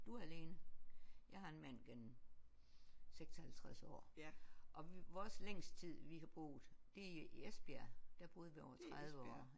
Du er alene. Jeg har en mand gennem 56 år og vi vores længste tid vi har boet det er i Esbjerg der boede vi over 30 år